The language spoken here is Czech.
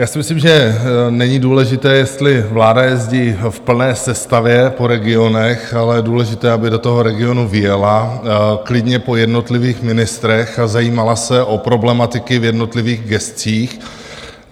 Já si myslím, že není důležité, jestli vláda jezdí v plné sestavě po regionech, ale je důležité, aby do toho regionu vyjela klidně po jednotlivých ministrech a zajímala se o problematiky v jednotlivých gescích.